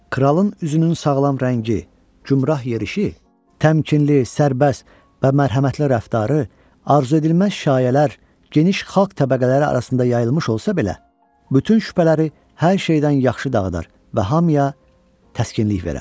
Kralın üzünün sağlam rəngi, cümrah yerişi, təmkinli, sərbəst və mərhəmətli rəftarı arzuedilməz şayələr geniş xalq təbəqələri arasında yayılmış olsa belə, bütün şübhələri hər şeydən yaxşı dağıdar və hamıya təskinlik verər.